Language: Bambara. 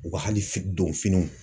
U ka hali fi donfiniw.